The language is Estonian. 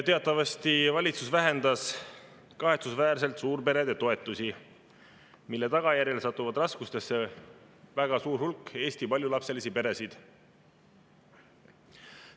Teatavasti valitsus vähendas kahetsusväärselt suurperede toetusi, mille tagajärjel satub raskustesse väga suur hulk Eesti paljulapselisi peresid.